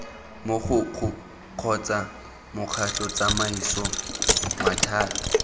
mogokgo kgotsa mokgatlho tsamaiso maphata